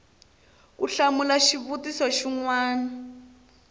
ku hlamula xivutiso xin wana